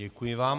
Děkuji vám.